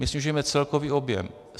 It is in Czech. My snižujeme celkový objem.